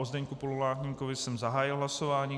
O Zdeňku Pololáníkovi jsem zahájil hlasování.